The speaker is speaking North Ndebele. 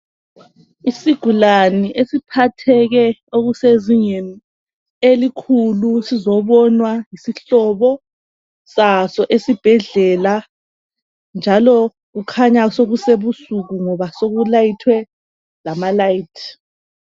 Isigulane esiphatheke okusezingeni elikhulu sizobonwa yisihlobo saso esibhedlela njalo kukhanya sokusebusuku ngoba sokulayithwe lamalayithi